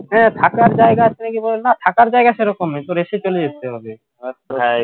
হ্যাঁ থাকার জায়গা আছে নাকি বলল না থাকার জায়গা সেরকম নেই তোর যেতে হবে